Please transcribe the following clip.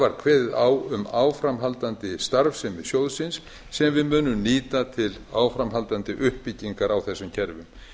var kveðið á um áframhaldandi starfsemi sjóðsins sem við munum nýta til áframhaldandi uppbyggingar á þessum kerfum